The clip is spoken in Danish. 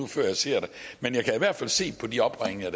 før jeg ser det men jeg kan i hvert fald se på de opringninger